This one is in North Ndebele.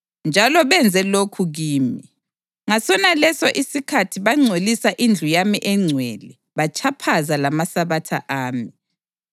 Njalo benze lokhu kimi: Ngasonaleso isikhathi bangcolisa indlu yami engcwele batshaphaza lamaSabatha ami.